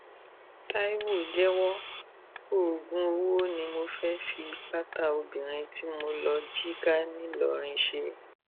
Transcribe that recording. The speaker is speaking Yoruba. tàìwo jẹwọ oògùn ọwọ ni mo fẹẹ fi pátá obìnrin tí mo lọọ jí ká ńìlọrin ṣe